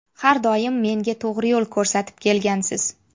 Har doim menga to‘g‘ri yo‘l ko‘rsatib kelgansiz.